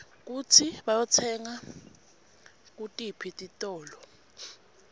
kutsi bayitsenga kutiphi titolo